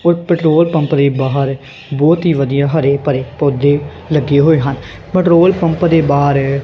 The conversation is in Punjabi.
ਔਰ ਪੈਟ੍ਰੋਲ ਪੰਪ ਦੇ ਬਾਹਰ ਬਹੁਤ ਹੀ ਵਧੀਆ ਹਰੇ ਭਰੇ ਪੌਧੇ ਲੱਗੇ ਹੋਏ ਹਨ ਪੈਟ੍ਰੋਲ ਪੰਪ ਦੇ ਬਾਹਰ--